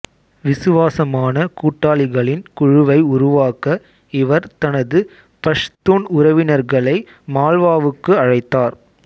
விசுவாசமான கூட்டாளிகளின் குழுவை உருவாக்க இவர் தனது பஷ்தூன் உறவினர்களை மால்வாவுக்கு அழைத்தார்